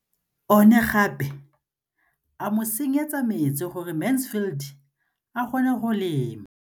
O ne gape a mo tsenyetsa metsi gore Mansfield a kgone go lema.